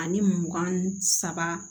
Ani mugan